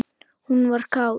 Hún var kát.